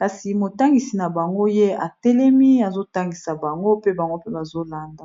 kasi motangisi na bango ye atelemi azotangisa bango pe bango mpe bazolanda